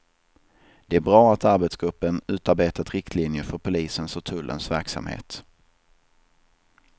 Det är bra att arbetsgruppen utarbetat riktlinjer för polisens och tullens verksamhet.